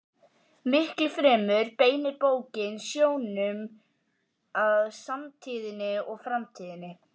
Miklu fremur beinir bókin sjónum að samtíðinni og framtíðinni.